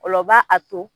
O la o b'a a to